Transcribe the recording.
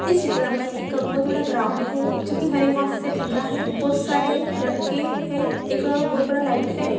इस चित्र में एक बहुत बड़ा ग्राउन्ड है जो के हरी घास से ढका है| बहुत सारे लड़के हैं| एक बहुत बड़ा लाइट है।